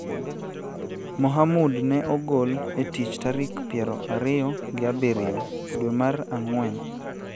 Mohamud ne ogol e tich tarik piero ariyo gi abiriyo dwe mar Ang'wen.